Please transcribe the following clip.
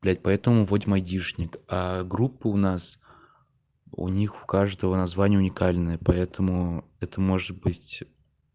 блять поэтому вадим айдишник группа у нас у них у каждого название уникальное поэтому это может быть